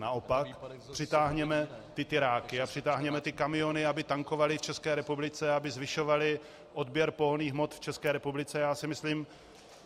Naopak, přitáhněme ty tiráky a přitáhněme ty kamiony, aby tankovaly v České republice, aby zvyšovaly odběr pohonných hmot v České republice.